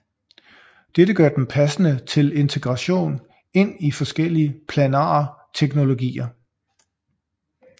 Dette gør dem passende til integration ind i forskellige planare teknologier